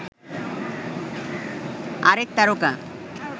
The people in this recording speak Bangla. আরেক তারকা